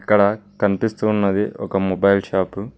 ఇక్కడ కనిపిస్తూ ఉన్నది ఒక మొబైల్ షాపు .